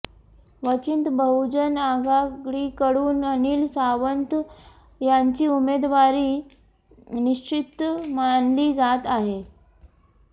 वंचित बहुजन आघाडीकडून अनिल सावंत यांची उमेदवारी निश्चित मानली जात आहे